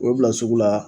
U bɛ bila sugu la